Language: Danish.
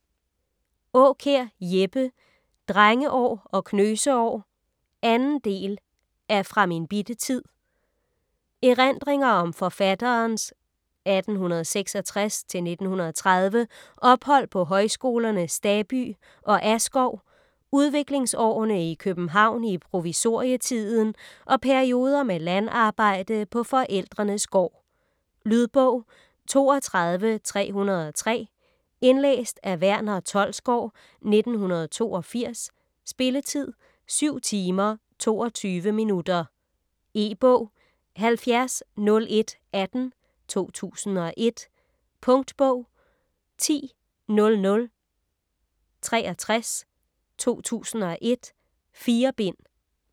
Aakjær, Jeppe: Drengeår og knøsekår 2. del af Fra min bitte tid. Erindringer om forfatterens (1866-1930) ophold på højskolerne Staby og Askov, udviklingsårene i København i provisorietiden og perioder med landarbejde på forældrenes gård. Lydbog 32303 Indlæst af Verner Tholsgaard, 1982. Spilletid: 7 timer, 22 minutter. E-bog 700118 2001. Punktbog 100063 2001. 4 bind.